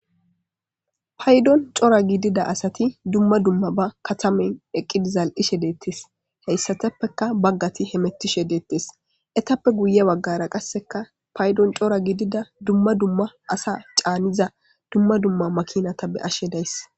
Paydon cora gidida asati dumma dumma ba katamen eqqidi zal'ishe deettes heyssateppeka baggati he mettishe deettes etappe guye waggara qasseka paydon cora gidida dumma dumma asa caaniza dumma dumma makinata be ashe days.